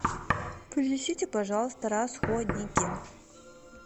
принесите пожалуйста расходники